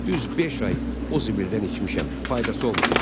Düz beş ay o zibildən içmişəm, faydası olmayıb.